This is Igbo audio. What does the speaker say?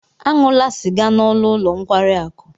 Aṅụla sịga n'ọnụ ụlọ nkwari akụ!